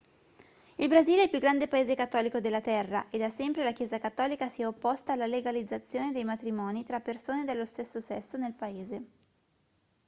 il brasile è il più grande paese cattolico della terra e da sempre la chiesa cattolica si è opposta alla legalizzazione dei matrimoni tra persone dello stesso sesso nel paese